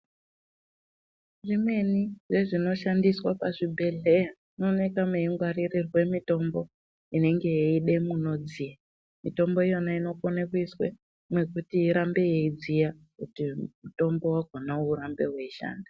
Zvimweni zvezvinoshandiswe pachibhehleya munoonekwa mweingwaririrwe mutombo inenge yeide munodziya ,mitombo iyona inokone kuiswa mwekuti irambe yeidziya kuti mutombo wakona urambe weishanda.